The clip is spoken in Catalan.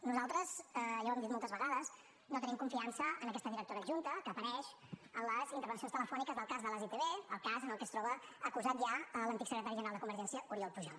nosaltres ja ho hem dit moltes vegades no tenim confiança en aquesta directora adjunta que apareix en les intervencions telefòniques del cas de les itv el cas en què es troba acusat ja l’antic secretari general de convergència oriol pujol